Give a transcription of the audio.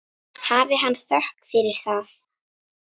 Hafi hann þökk fyrir það.